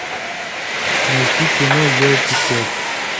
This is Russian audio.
найти кино елки пять